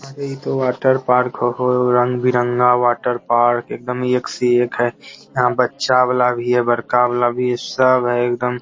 अरे इ तो वाटर पार्क हो रंग-बिरंगा वाटर पार्क एकदम एक से एक है यहाँ बच्चा वाला भी है बड़का वाला भी है सब है एकदम --